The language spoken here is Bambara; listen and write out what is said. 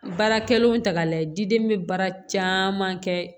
Baarakɛlenw ta k'a lajɛ diden bɛ baara caman kɛ